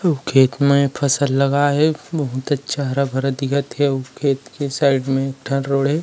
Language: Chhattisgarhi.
अउ खेत में फसल लगा हे बहुत अच्छा हरा-भरा दिखत हे अउ खेत के साइड में एक ठन रोड हे ।